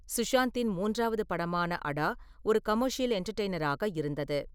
சுஷாந்தின் மூன்றாவது படமான அடா ஒரு கமர்ஷியல் என்டர்டெயினராக இருந்தது.